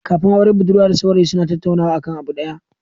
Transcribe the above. Kafin aure budurwa da saurayi suna tattaunawa akan abu da yawa